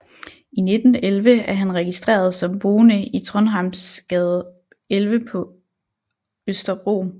I 1911 er han registreret som boende i Trondhjemsgade 11 på Østerbro